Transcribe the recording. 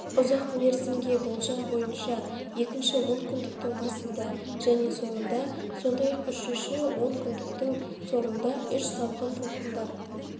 ұзақ мерзімге болжам бойынша екінші онкүндіктің басында және соңында сондай-ақ үшінші он күндіктің соңында үш салқын толқындар